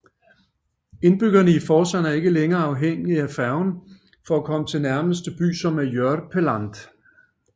Indbyggerne i Forsand er ikke længere afhængige af færge for at komme til nærmeste by som er Jørpeland